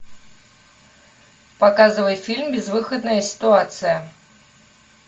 показывай фильм безвыходная ситуация